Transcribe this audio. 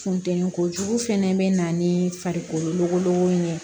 Funteni kojugu fɛnɛ be na nii farikolo logolodugu in ye